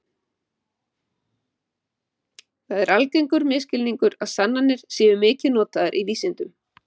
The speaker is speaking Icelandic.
það er algengur misskilningur að sannanir séu mikið notaðar í vísindum